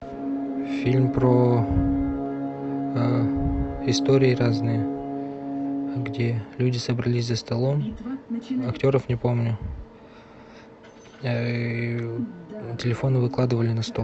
фильм про истории разные где люди собрались за столом актеров не помню телефоны выкладывали на стол